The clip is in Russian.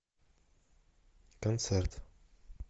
концерт